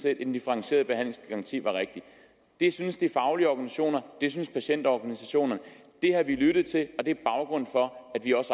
at en differentieret behandlingsgaranti var rigtig det synes de faglige organisationer og det synes patientorganisationerne det har vi lyttet til og det er baggrunden for